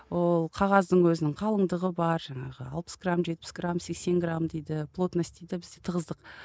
ол қағаздың өзінің қалыңдығы бар жаңағы алпыс грамм жетпіс грамм сексен грамм дейді плотность дейді бізде тығыздық